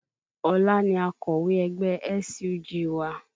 Ọlá ni akọ̀wé ẹgbẹ́ SUG wa